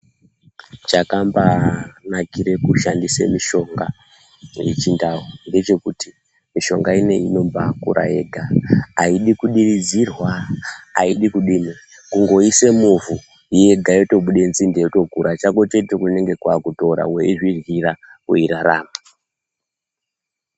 Chakambaanikire kushandisa mishonga yechindau ngechekuti mishonga ineyi inombaakura yega, aidi kudiridzirwa, aidi kudini kungoise muvhu yega yotobude nzinde yotokura, chako chete kunenge kwakuitora weizvidyira wotorarama.